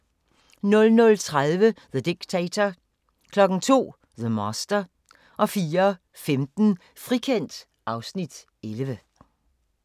00:30: The Dictator 02:00: The Master 04:15: Frikendt (Afs. 11)